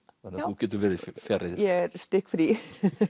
þú getur verið fjarri þessu er stikkfrí